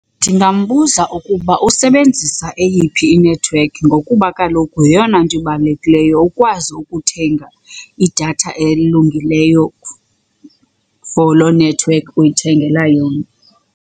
Ndingambuza ukuba usebenzisa eyiphi inethiwekhi ngokuba kaloku yeyona nto ibalulekileyo ukwazi ukuthenga idatha elungileyo for loo nethiwekhi uyithengela yona.